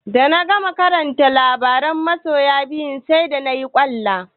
Da na gama karanta labaran masoya biyu sai da nayi ƙwalla.